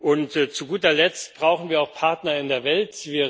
Und zu guter Letzt brauchen wir auch Partner in der Welt.